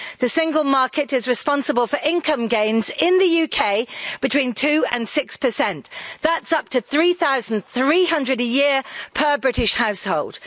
The Single Market is responsible for income gains in the UK between 2 and 6 that's up to GBP 3300 a year per British household.